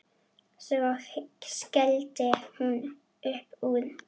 Svo skellti hún upp úr.